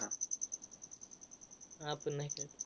आपण नाय खेळत.